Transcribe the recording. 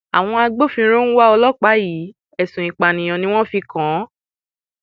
àwọn agbófinró ń wá ọlọpàá yìí ẹsùn ìpànìyàn ni wọn fi kàn án